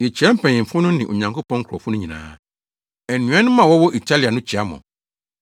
Yekyia mpanyimfo no ne Onyankopɔn nkurɔfo no nyinaa. Anuanom a wɔwɔ Italia no kyia mo.